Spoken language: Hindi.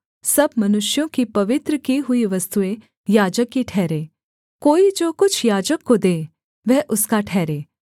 सब मनुष्यों की पवित्र की हुई वस्तुएँ याजक की ठहरें कोई जो कुछ याजक को दे वह उसका ठहरे